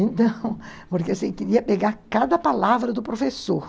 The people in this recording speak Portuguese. Então, porque você queria pegar cada palavra do professor.